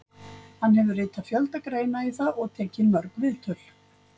Hann hefur ritað fjölda greina í það og tekið mörg viðtöl.